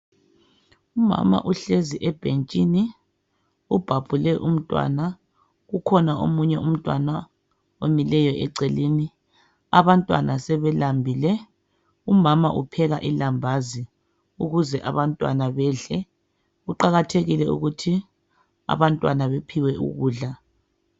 Umama uhlezi ebhentshini, ubhabhule umntwana, kukhona omunye umntwana omileyo eceleni. Abantwana sebelambile. Umama upheka ilambazi ukuze abantwana bedle. Kuqakathekile ukuthi abantwana bephiwe ukudla.